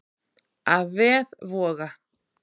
Af vef Voga